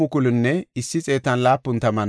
Safaaxa yarati 372;